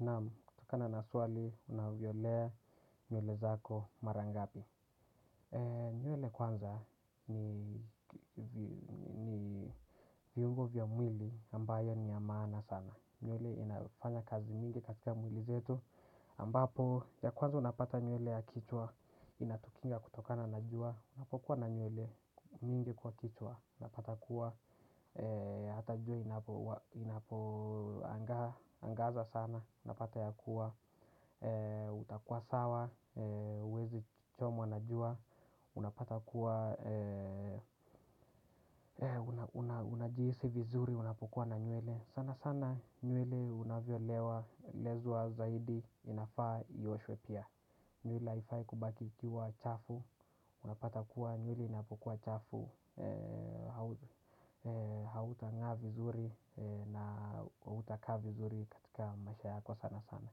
Naam, kutokana na swali, unavyolea nywele zako mara ngapi. Nywele kwanza ni viungo vya mwili ambayo ni ya maana sana. Nywele inayofanya kazi mingi katika mwili zetu. Ambapo, ya kwanza unapata nywele ya kichwa, inatukinga kutokana na jua. Unapokuwa na nyule mingi kwa kichwa. Unapata kuwa, hata jua inapoangaza sana unapata ya kuwa, utakuwa sawa, huwezi chomwa na jua. Unapata kuwa, unajihisi vizuri, unapokuwa na nywele sana sana nywele unavyolewa, lezwa zaidi, inafaa ioshwe pia. Nywele haifai kubaki ikiwa chafu. Unapata kuwa nywele inapokuwa chafu. Hauta ngaa vizuri na hautaka vizuri katika maisha yako sana sana.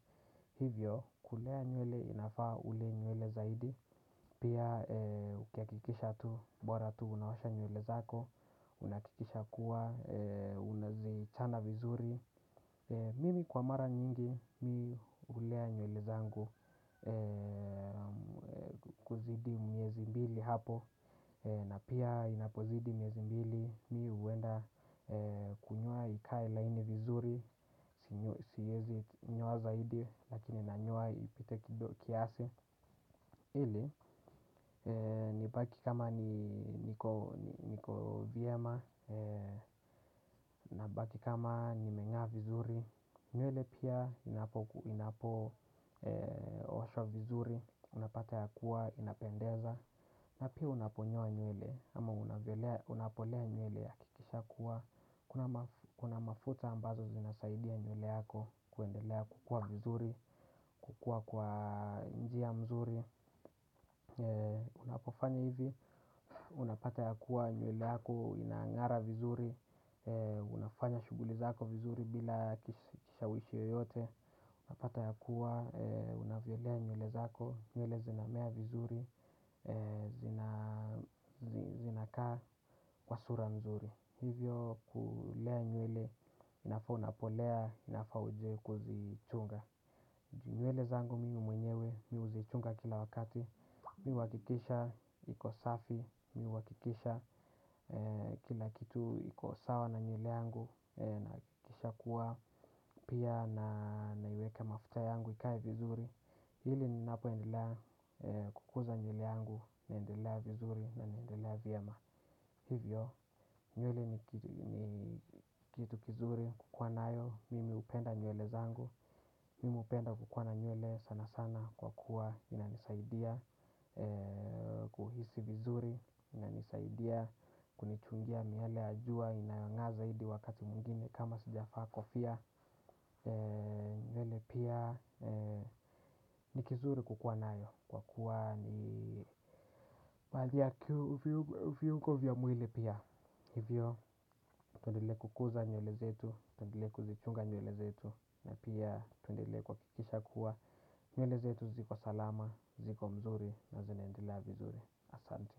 Hivyo, kulea nyuele inafaa ule nywele zaidi. Pia ukihakikisha tu, bora tu unaosha nywele zako. Unahakikisha kuwa, unazichana vizuri. Mimi kwa mara nyingi, mi hulea nywele zangu. Kuzidi miezi mbili hapo na pia inapozidi miezi mbili, mi huenda kunyoa ikaeblaini vizuri, siezi nyoa zaidi, lakini nanyoa ipite kiasi. Ili, nibaki kama niko vyama, nabaki kama nimengaa vizuri, nywele pia inapooshwa vizuri, unapata ya kuwa, inapendeza. Na pia unaponyo la gnyuele ama unapolea nywele hakikisha kuwa kuna mafuta ambazo zinasaidia nywele yako kuendelea kukua vizuri. Kukua kwa njia mzuri. Unapofanya hivi, unapata ya kuwa nywele yako inangara vizuri. Unafanya shuguli zako vizuri bila kishawishi yoyote. Unapata ya kuwa, unavyolea nywele zako, nywele zinamea vizuri. Zinakaa kwa sura nzuri. Hivyo kulea nywele inafaa unapolea inafaa uje kuzichunga. Nywele zangu mimi mwenyewe mi huzichunga kila wakati. Mi huhakikisha, iko safi, mi huhakikisha kila kitu iko sawa na nywele yangu. Nahakikisha kuwa pia na naiweka mafuta yangu ikae vizuri ili ninapoendelea kukuza nywele yangu naendelea vizuri na naendelea vyema. Hivyo, nywele ni kitu kizuri kukua nayo, mimi hupenda nywele zangu, mimi hupenda kukuwa na nywele sana sana kwa kuwa inanisaidia kuhisi vizuri, inanisaidia kunichungia miale ya jua inayongaa zaidi wakati mwingine kama sijavaa kofia. Nywele pia ni kizuri kukuwa nayo. Kwa kuwa ni baadhi ya viungo vya mwili pia hivyo tuendelee kukuza nywele zetu. Tuendelee kuzichunga nywele zetu na pia tuendelee kuhakikisha kuwa nywele zetu ziko salama, ziko mzuri na zinaendelea vizuri. Asante.